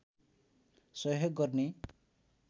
सहयोग गर्ने